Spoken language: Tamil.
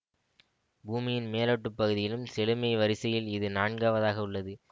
பூமியின் மேலோட்டுப் பகுதியிலும் செழுமை வரிசையில் இது நான்கவதாக உள்ளது